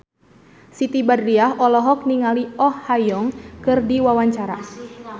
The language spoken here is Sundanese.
Siti Badriah olohok ningali Oh Ha Young keur diwawancara